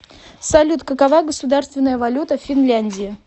салют какова государственная валюта в финляндии